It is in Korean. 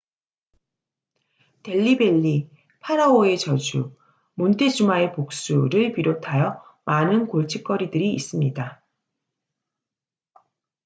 델리 벨리 파라오의 저주 몬테주마의 복수를 비롯하여 많은 골칫거리들이 있습니다